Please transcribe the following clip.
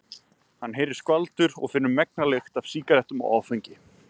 Hann heyrir skvaldur og finnur megna lykt af sígarettum og áfengi.